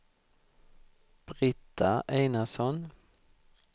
Britta Einarsson